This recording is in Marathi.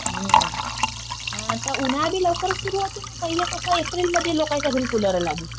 हम्म. आता उन्हाळा बी लवकर सुरू होतो ना. पहिले कस एप्रिलमध्ये लोकाच्या घरी कुलरा लागे.